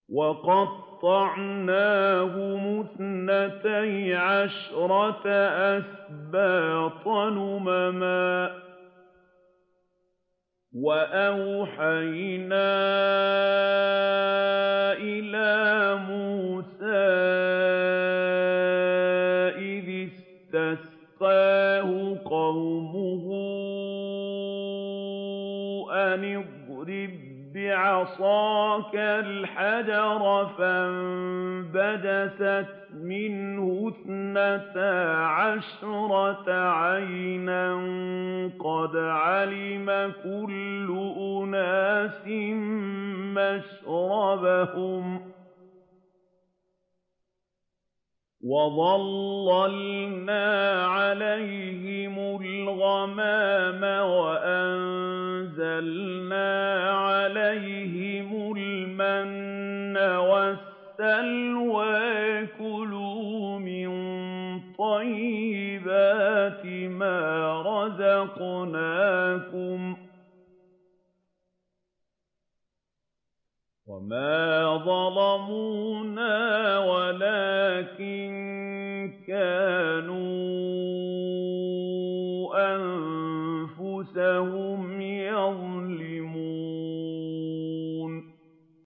وَقَطَّعْنَاهُمُ اثْنَتَيْ عَشْرَةَ أَسْبَاطًا أُمَمًا ۚ وَأَوْحَيْنَا إِلَىٰ مُوسَىٰ إِذِ اسْتَسْقَاهُ قَوْمُهُ أَنِ اضْرِب بِّعَصَاكَ الْحَجَرَ ۖ فَانبَجَسَتْ مِنْهُ اثْنَتَا عَشْرَةَ عَيْنًا ۖ قَدْ عَلِمَ كُلُّ أُنَاسٍ مَّشْرَبَهُمْ ۚ وَظَلَّلْنَا عَلَيْهِمُ الْغَمَامَ وَأَنزَلْنَا عَلَيْهِمُ الْمَنَّ وَالسَّلْوَىٰ ۖ كُلُوا مِن طَيِّبَاتِ مَا رَزَقْنَاكُمْ ۚ وَمَا ظَلَمُونَا وَلَٰكِن كَانُوا أَنفُسَهُمْ يَظْلِمُونَ